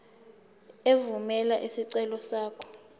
evumela isicelo sakho